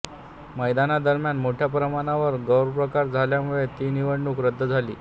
मतदानादरम्यान मोठया प्रमाणावर गैरप्रकार झाल्यामुळे ती निवडणूक रद्द झाली